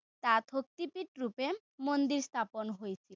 তাত শক্তিপীঠ ৰুপে মন্দিৰ স্থাপন হৈছিল।